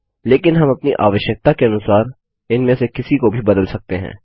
लेकिन हम अपनी आवश्यकता के अनुसार इनमें से किसी को भी बदल सकते हैं